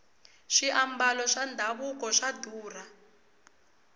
swiambalo swa davuko swa durha